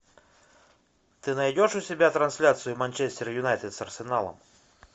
ты найдешь у себя трансляцию манчестер юнайтед с арсеналом